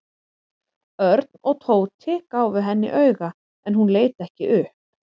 Örn og Tóti gáfu henni auga en hún leit ekki upp.